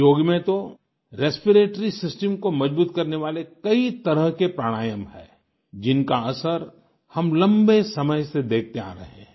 योग में तो रेस्पिरेटरी सिस्टम को मजबूत करने वाले कई तरह के प्राणायाम हैं जिनका असर हम लम्बे समय से देखते आ रहे हैं